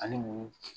Ani munun